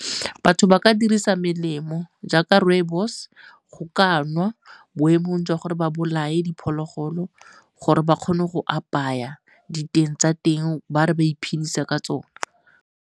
Batho ba ka dirisa melemo jaaka rooibos go ka nwa boemong jwa gore ba bolae diphologolo gore ba kgone go apaya diteng tsa teng ba re ba iphedisa ka tsone.